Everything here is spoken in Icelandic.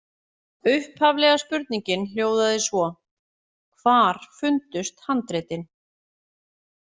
Upphaflega spurningin hljóðaði svo: Hvar fundust handritin?